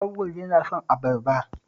Auwal yana son abarba